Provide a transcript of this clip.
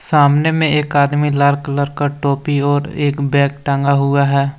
सामने में एक आदमी लाल कलर का टोपी और एक बैग टंगा हुआ है।